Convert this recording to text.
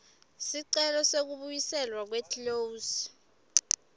sicelo sekubuyiselwa kweclose